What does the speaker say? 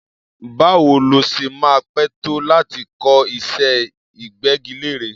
Báwo ló ṣe máa pẹ́ tó láti kọ́ iṣẹ́ ìgbẹ́gilére?